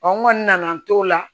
n kɔni nana n t'o la